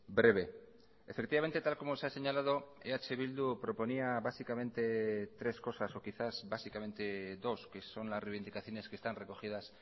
breve efectivamente tal como se ha señalado eh bildu proponía básicamente tres cosas o quizás básicamente dos que son las reivindicaciones que están recogidas